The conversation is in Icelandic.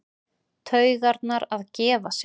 Taugarnar að gefa sig.